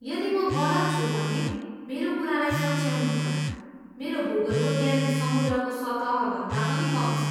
यदि म गलत छु भने मेरो कुरालाई सच्याउनुहोला, मेरो भूगोलको ज्ञान समुद्रको सतहभन्दा पनि कम छ।